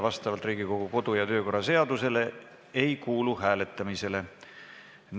Vastavalt Riigikogu kodu- ja töökorra seadusele ei kuulu see hääletamisele.